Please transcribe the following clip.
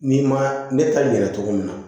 N'i ma ne ta yɛrɛ cogo min na